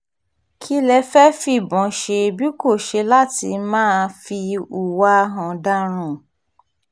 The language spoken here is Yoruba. kí lẹ fẹ́ẹ́ fìbọn ṣe bí kò ṣe láti máa fi hùwà ọ̀daràn